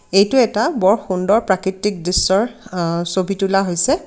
এইটো এটা বৰ সুন্দৰ প্ৰাকৃতিক দৃশ্যৰ আ ছবি তোলা হৈছে।